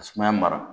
Ka sumaya mara